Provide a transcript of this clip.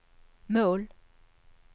mål